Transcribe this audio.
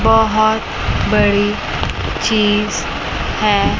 बहोत बड़ी चीज है।